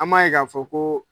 An m'a ye k'a fɔ koo